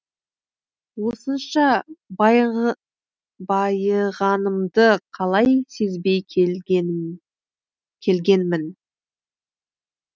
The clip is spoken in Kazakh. осынша байығанымды қалай сезбей келгенмін